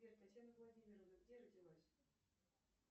сбер татьяна владимировна где родилась